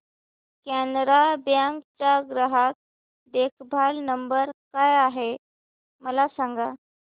Canara bank चा ग्राहक देखभाल नंबर काय आहे मला सांगा